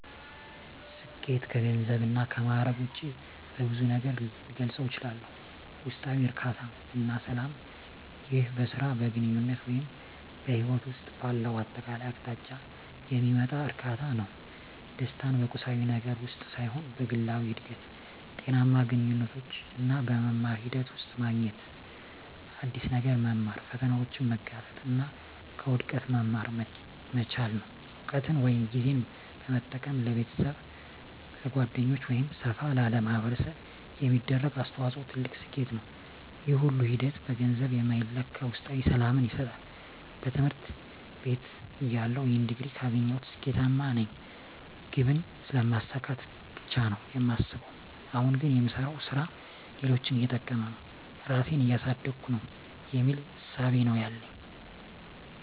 ስኬት ከገንዘብ እና ከማእረግ ውጭ በብዙ ነገር ልገልፀው እችላልሁ። ውስጣዊ እርካታ እና ሰላም ይህ በሥራ፣ በግንኙነት ወይም በሕይወት ውስጥ ባለው አጠቃላይ አቅጣጫ የሚመጣ እርካታ ነው። ደስታን በቁሳዊ ነገር ውስጥ ሳይሆን በግላዊ እድገት፣ ጤናማ ግንኙነቶች እና በመማር ሂደት ውስጥ ማግኘት። አዲስ ነገር መማር፣ ፈተናዎችን መጋፈጥ እና ከውድቀት መማር መቻል። እውቀትን ወይም ጊዜን በመጠቀም ለቤተሰብ፣ ለጓደኞች ወይም ሰፋ ላለ ማኅበረሰብ የሚደረግ አስተዋጽኦ ትልቅ ስኬት ነው። ይህ ሁሉ ሂደት በገንዘብ የማይለካ ውስጣዊ ሰላምን ይሰጣል። በትምህርት ቤትተያለሁ "ይህን ዲግሪ ካገኘሁ ስኬታማ ነኝ" ግብን ስለማሳካት ብቻ ነው የማስበው። አሁን ግን "የምሰራው ሥራ ሌሎችን እየጠቀመ ነው? ራሴን እያሳደግኩ ነው?" የሚል እሳቤ ነው ያለኝ።